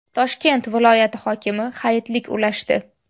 Toshkent viloyati hokimi hayitlik ulashdi.